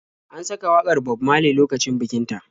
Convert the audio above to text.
An saka wakar Bob Maley lokacin bikin ta.